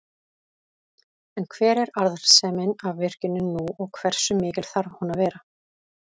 En hver er arðsemin af virkjuninni nú og hversu mikil þarf hún að vera?